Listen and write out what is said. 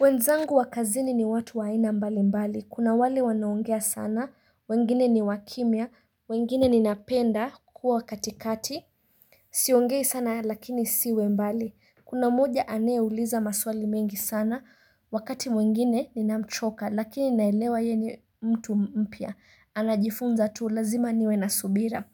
Wenzangu wa kazini ni watu wa aina mbali mbali kuna wale wanaongea sana wengine ni wakimya wengine ninapenda kuwa katikati Siongei sana lakini siwe mbali Kuna mmoja anayeuliza maswali mengi sana wakati mwingine ninamchoka lakini naelewa ye ni mtu mpya anajifunza tu lazima niwe na subira